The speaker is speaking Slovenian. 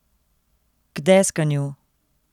K deskanju.